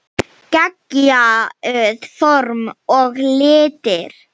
Geggjuð form og litir.